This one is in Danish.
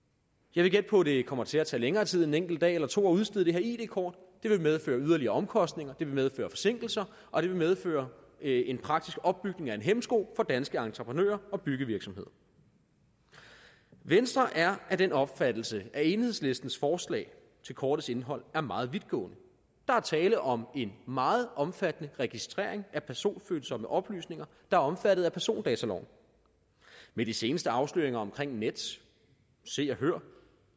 jeg vil gætte på at det kommer til at tage længere tid end en enkelt dag eller to at udstede det her id kort det vil medføre yderligere omkostninger det vil medføre forsinkelser og det vil medføre at en praktisk opbygning er en hæmsko for danske entreprenører og byggevirksomheder venstre er af den opfattelse at enhedslistens forslag til kortets indhold er meget vidtgående der er tale om en meget omfattende registrering af personfølsomme oplysninger der er omfattet af persondataloven med de seneste afsløringer omkring nets se og hør